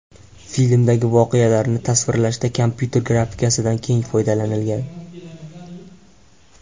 Filmdagi voqealarni tasvirlashda kompyuter grafikasidan keng foydalanilgan.